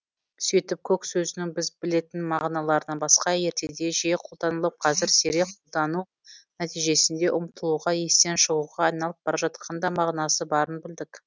сөйтіп көк сөзінің біз білетін мағыналарынан басқа ертеде жиі қолданылып қазір сирек қолдану нәтижесінде ұмытылуға естен шығуға айналып бара жатқан да мағынасы барын білдік